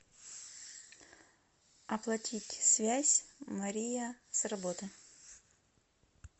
оплатить связь мария с работы